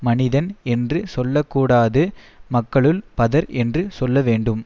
மனிதன் என்று சொல்ல கூடாது மக்களுள் பதர் என்று சொல்லவேண்டும்